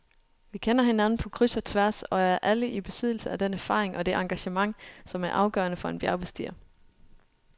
Vi kender hinanden på kryds og tværs og er alle i besiddelse af den erfaring og det engagement, som er afgørende for en bjergbestiger.